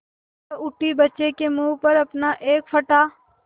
वह उठी बच्चे के मुँह पर अपना एक फटा